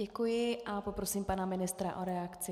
Děkuji a poprosím pana ministra o reakci.